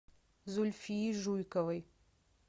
зульфии жуйковой